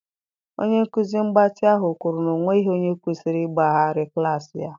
Onye nkuzi mgbatị ahụ kwuru na ọ nweghị onye kwesịrị ịgbaghara klaasị ya